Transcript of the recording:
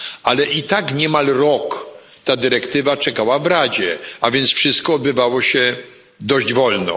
Ale i tak niemal rok ta dyrektywa czekała w Radzie, a więc wszystko odbywało się dość wolno.